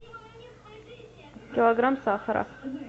килограмм сахара